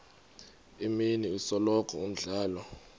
imini isikolo umdlalo